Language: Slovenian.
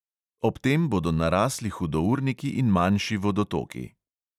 Ob tem bodo narasli hudourniki in manjši vodotoki.